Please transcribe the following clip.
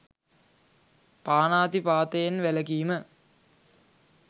පාණාතිපාතයෙන් වැළකීම